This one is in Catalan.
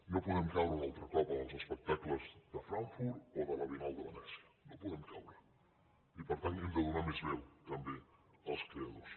no podem caure un altre cop en els espectacles de frankfurt o de la biennal de venècia no hi podem caure i per tant hem de donar més veu també als creadors